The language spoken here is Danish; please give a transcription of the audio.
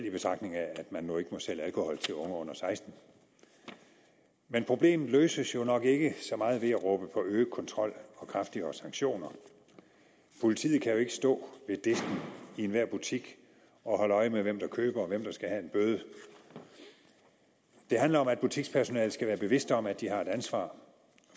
i betragtning at man nu ikke må sælge alkohol til unge under sekstende men problemet løses jo nok ikke ved at råbe på øget kontrol og kraftigere sanktioner politiet kan jo ikke stå ved disken i enhver butik og holde øje med hvem der køber og hvem der skal have en bøde det handler om at butikspersonalet skal være bevidste om at de har et ansvar